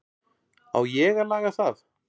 Á ég að laga það?